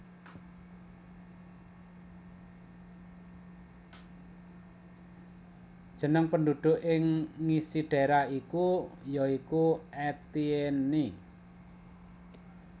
Jeneng penduduk ing ngisi daerah iku ya iku Etienne